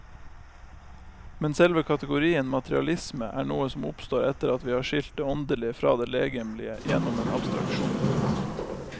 Men selve kategorien materialisme er noe som oppstår etter at vi har skilt det åndelige fra det legemlige gjennom en abstraksjon.